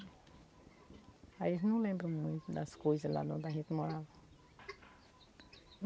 Aí eles não lembram muito das coisas lá da onde a gente morava.